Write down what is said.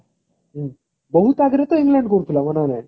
ବହୁତ ଆଗରେ ତ england କରୁଥିଲା